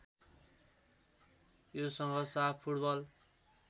योसँग साफ फुटबल